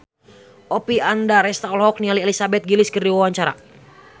Oppie Andaresta olohok ningali Elizabeth Gillies keur diwawancara